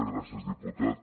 gràcies diputat